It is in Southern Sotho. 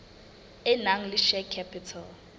e nang le share capital